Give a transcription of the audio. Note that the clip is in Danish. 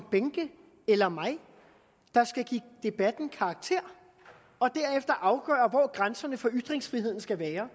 behnke eller mig der skal give debatten karakter og derefter afgøre hvor grænserne for ytringsfriheden skal være